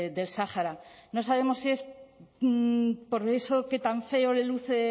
del sáhara no sabemos si es por eso que tan feo le luce